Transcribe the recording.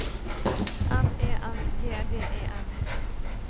M E N G D E N